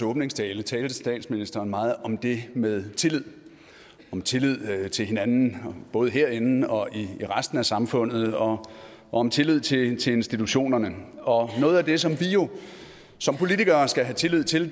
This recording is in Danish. åbningstale talte statsministeren meget om det med tillid om tillid til hinanden både herinde og i resten af samfundet og om tillid tillid til institutionerne og noget af det som vi jo som politikere skal have tillid til